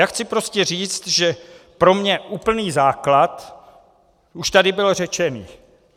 Já chci prostě říct, že pro mě úplný základ už tady byl řečený.